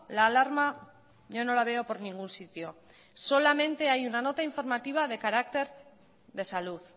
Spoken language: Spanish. la alarma yo no la veo por ningún sitio solamente hay una nota informativa de carácter de salud